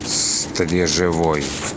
стрежевой